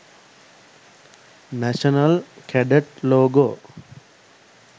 national cadet logo